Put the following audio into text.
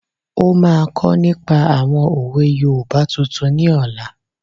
Ó máa kọ́ nípa àwọn òwe yoòbá tuntun ní ọ̀la